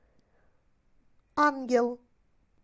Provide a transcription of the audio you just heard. ангел